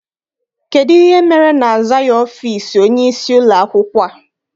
Kedụ ihe mere na-azaghị ọfịịsi onyeisi ụlọakwụkwọ a?